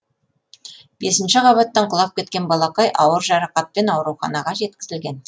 бесінші қабаттан құлап кеткен балақай ауыр жарақатпен ауруханаға жеткізілген